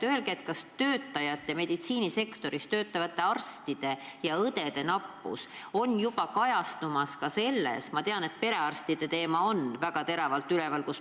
Öelge, kas meditsiinisektoris töötavate arstide ja õdede nappus hakkab juba kajastuma ka selles, et perearstide teema on meil väga teravalt üleval.